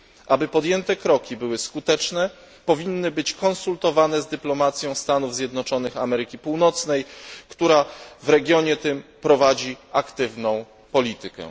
Aby podjęte kroki były skuteczne, powinny być konsultowane z dyplomacją Stanów Zjednoczonych Ameryki Północnej, która w tym regionie prowadzi aktywną politykę.